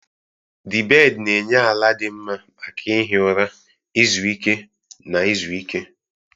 The bed na-enye ala dị mma maka ihi ụra, izu ike, na izu ike.